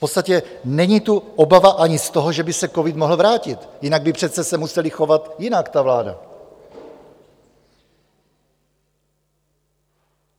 V podstatě není tu obava ani z toho, že by se covid mohl vrátit, jinak by se přece museli chovat jinak, ta vláda.